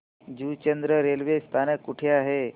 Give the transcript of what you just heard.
Juchandra railway स्थानक कुठे आहे